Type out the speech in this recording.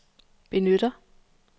benytter